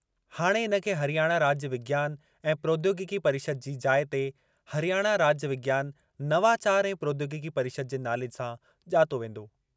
हाणे इन खे हरियाणा राज्य विज्ञान ऐं प्रौद्योगिकी परिषद जी जाइ ते 'हरियाणा राज्य विज्ञान, नवाचार ऐं प्रौद्योगिकी परिषद' जे नाले सां ॼातो वेंदो।